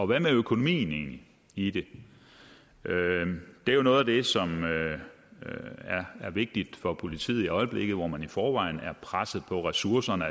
hvad med økonomien i det det er jo noget af det som er vigtigt for politiet i øjeblikket hvor man i forvejen er presset på ressourcerne